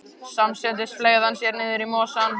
Samstundis fleygði hann sér niður í mosann.